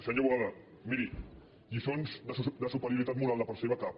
senyor boada miri lliçons de superioritat moral de part seva cap